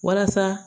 Walasa